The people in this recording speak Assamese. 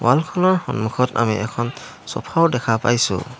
ৱাল খনৰ সন্মুখত আমি এখন ছফা ও দেখা পাইছোঁ।